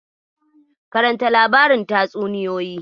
Ka karanta labarin tatsuniyoyin.